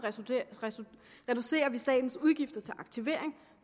reducerer vi statens udgifter til aktivering